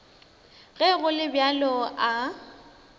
ge go le bjalo a